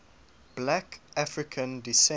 black african descent